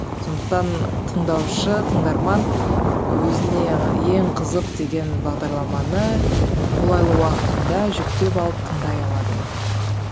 сондықтан тыңдаушы тыңдарман өзіне ең қызық деген бағдарламаны қолайлы уақытында жүктеп алып тыңдай алады